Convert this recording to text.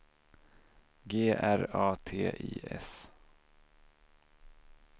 G R A T I S